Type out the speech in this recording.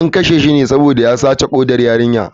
An kashe shi ne saboda ya sace kodar yarinyar.